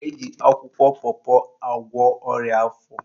Eji akwụkwọ pọpọ agwọ ọrịa afọ